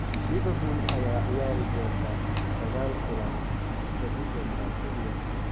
Liverpool ayaa ciyaari doonta 9 kulan bisha December kaliya.